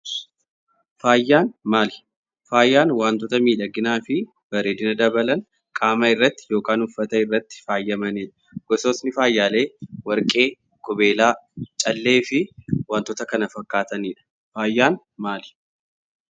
Faayan maali? Faayan waantoota midhaginaa fi bareedina dabalaan qaama irratti yookaan uffataa irratti faayamanidha. Goosotni faayalee Warqii, Qubeelaa, Caalee fi waantoota kana faakkatanidha. Faayan maali?